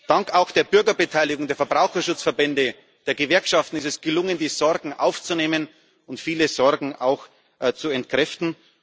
Dank der Bürgerbeteiligung, der Verbraucherschutzverbände und der Gewerkschaften ist es gelungen, die Sorgen aufzunehmen und viele Sorgen auch zu entkräften.